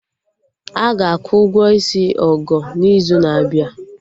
Aga akwụ ụgwọ isi Ogo n'izu na-abịa